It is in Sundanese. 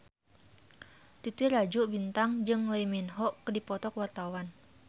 Titi Rajo Bintang jeung Lee Min Ho keur dipoto ku wartawan